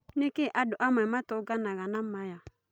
Nĩ kĩ andũ amwe matũnganaga na maya?